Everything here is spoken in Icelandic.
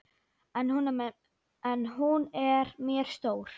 En hún er mér stór.